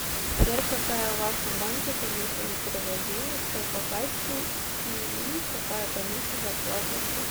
сбер какая в вашем банке комиссия за перевод денег по кассе и и какая комиссия за оплату услуг